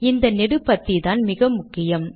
இந்த நெடு பத்திதான் மிக முக்கியம்